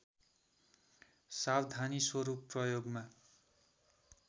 सावधानी स्वरूप प्रयोगमा